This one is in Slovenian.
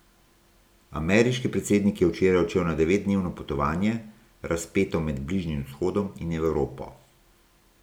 Ameriški predsednik je včeraj odšel na devetdnevno potovanje, razpeto med Bližnjim vzhodom in Evropo.